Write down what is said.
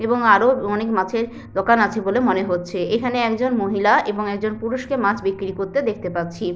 এবং আরো অনেক মাছের দোকান আছে বলে মনে হচ্ছে। এখানে একজন মহিলা এবং একজন পুরুষ কে মাছ বিক্রি করতে দেখতে পাচ্ছি।